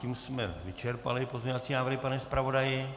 Tím jsme vyčerpali pozměňovací návrhy, pane zpravodaji?